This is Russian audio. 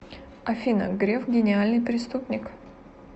афина греф гениальный преступник